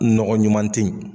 Nɔgɔ ɲuman ten.